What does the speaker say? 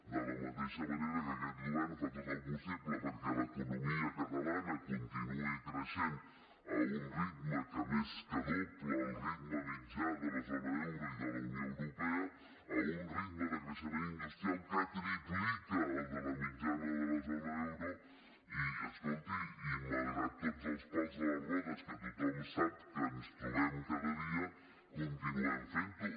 de la mateixa manera que aquest govern fa tot el possible perquè l’economia catalana continuï creixent a un ritme que més que dobla el ritme mitjà de la zona euro i de la unió europea a un ritme de creixement industrial que triplica el de la mitjana de la zona euro i escolti i malgrat tots els pals a les rodes que tothom sap que ens trobem cada dia continuem fent ho